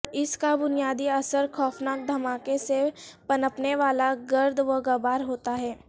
اس کا بنیادی اثر خوفناک دھماکے سے پنپنے والا گرد و غبار ہوتا ہے